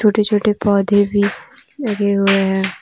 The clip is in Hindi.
छोटे छोटे पौधे भी लगे हुए हैं ।